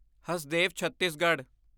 Hasdeo Chhattisgarh